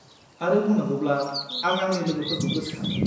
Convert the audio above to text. आरो बुंनांगौब्ला, आं आंनि लोगोफोरखौ गोसोखाङो।